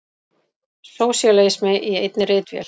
Sósíalismi í einni ritvél!